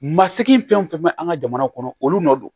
Masigi fɛn fɛn bɛ an ka jamana kɔnɔ olu nɔ don